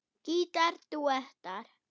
Gítar dúettar